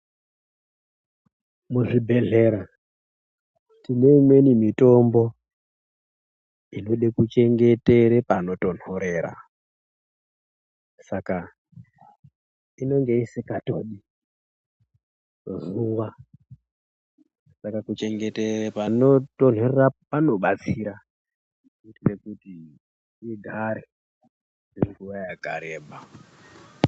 Muzvibhehlera tineimweni mitombo inode kuchengetere panonotonhorera saka inonga isikatodi zuwa saka kuchengeteka panotonherera panobatsira kuitira kuti igare kwenguwa yakarebà.